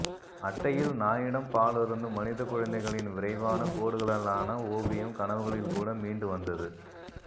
அட்டையில் நாயிடம் பாலருந்தும் மனிதக்குழந்தைகளின் விரைவான கோடுகளாலான ஓவியம் கனவுகளில்கூட மீண்டு வந்தது